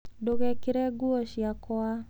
Ndũgekĩre nguo ciakwa.